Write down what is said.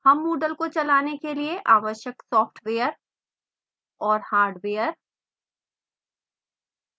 हम moodle को चलाने के लिए आवश्यक सॉफ्टवेयर और हार्डवेयर और